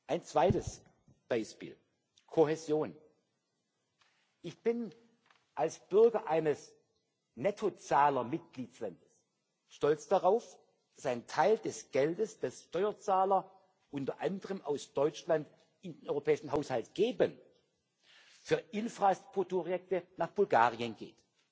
Ein zweites Beispiel Kohäsion. Ich bin als Bürger eines Nettozahlermitgliedstaats stolz darauf, dass ein Teil des Geldes, das Steuerzahler unter anderem aus Deutschland in den europäischen Haushalt geben, für Infrastrukturprojekte nach Bulgarien geht.